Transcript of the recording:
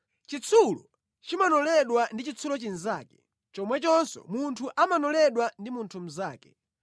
Chitsulo chimanoledwa ndi chitsulo chinzake, chomwechonso munthu amanoledwa ndi munthu mnzake.